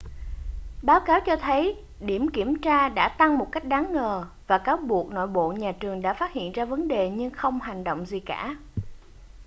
báo cáo cho thấy điểm kiểm tra đã tăng một cách đáng ngờ và cáo buộc nội bộ nhà trường đã phát hiện ra vấn đề nhưng không hành động gì cả